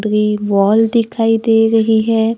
Wall दिखाई दे रही है।